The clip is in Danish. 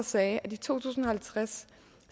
sagde i to tusind og halvtreds